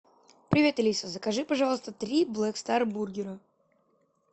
привет алиса закажи пожалуйста три блэк стар бургера